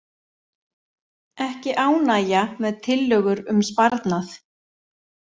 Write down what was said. Ekki ánægja með tillögur um sparnað